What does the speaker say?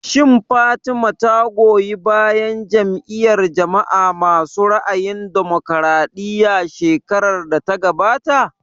Shin Fatima ta goyi bayan Jam'iyar jama'a masu ra'ayin damokaraɗiya shekarar da ta gabata?